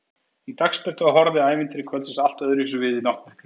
Í dagsbirtu horfði ævintýri kvöldsins allt öðruvísi við en í náttmyrkrinu.